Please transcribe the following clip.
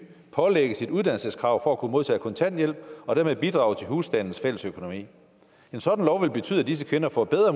pålægges et uddannelseskrav for at kunne modtage kontanthjælp og dermed bidrage til husstandens fællesøkonomi en sådan lov vil betyde at disse kvinder får bedre